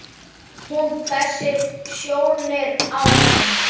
Hún hvessir sjónir á hann.